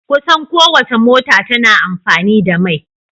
Kusan kowacce mota tana amfani da mai.